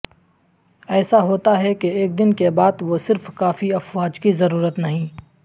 ایسا ہوتا ہے کہ ایک دن کے بعد وہ صرف کافی افواج کی ضرورت نہیں